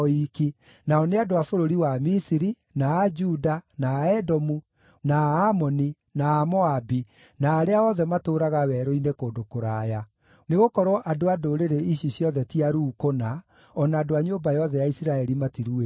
nao nĩ andũ a bũrũri wa Misiri, na a Juda, na a Edomu, na a Amoni, na a Moabi, na arĩa othe matũũraga werũ-inĩ kũndũ kũraya. Nĩgũkorwo andũ a ndũrĩrĩ ici ciothe ti aruu kũna, o na andũ a nyũmba yothe ya Isiraeli matiruĩte ngoro.”